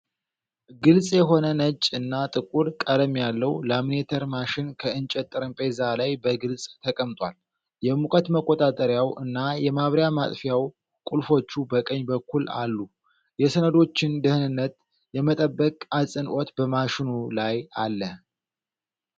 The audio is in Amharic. ግልጽ የሆነ ነጭ እና ጥቁር ቀለም ያለው ላሚኔተር ማሽን ከእንጨት ጠረጴዛ ላይ በግልጽ ተቀምጧል። የሙቀት መቆጣጠሪያው እና የማብሪያ ማጥፊያ ቁልፎቹ በቀኝ በኩል አሉ። የሰነዶችን ደህንነት የመጠበቅ አጽንዖት በማሽኑ ላይ አለ።